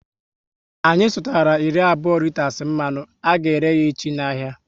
Anyị sutara iri abụọ riters mmanụ, a ga ere yá echi n'ahia